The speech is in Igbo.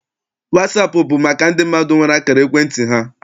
Wasaapụ bụ maka ndị mmadụ nwere akara ekwentị ha.